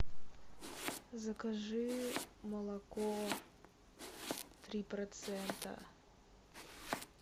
закажи молоко три процента